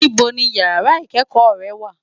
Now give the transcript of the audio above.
Nibó ni iyàrá ikëkò rè wá?